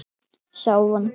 sá vondi